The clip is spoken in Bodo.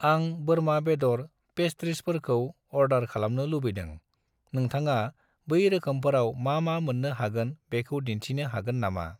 आं बोरमा बेद'र ,पेस्त्रिस फोरखौ अर्डार खालामनो लुबैदों, नोंथाङा बै रोखोमफोराव मा-मा मोन्नो हागोन बेखौ दिन्थिनो हागोन नमा?